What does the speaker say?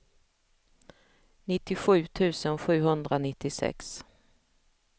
nittiosju tusen sjuhundranittiosex